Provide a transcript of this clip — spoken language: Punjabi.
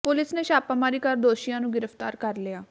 ਪੁਲਿਸ ਨੇ ਛਾਪਾਮਾਰੀ ਕਰ ਦੋਸ਼ੀਆਂ ਨੂੰ ਗ੍ਰਿਫ਼ਤਾਰ ਕਰ ਲਿਆ